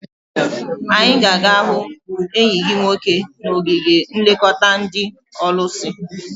I ga aga hu enyi gi nwoke n'ogige nlekota ndi olusi?